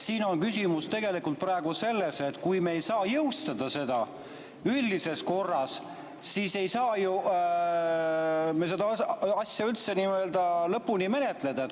Siin on küsimus tegelikult praegu selles, et kui me ei saa jõustada seda üldises korras, siis ei saa me seda asja üldse nii-öelda lõpuni menetleda.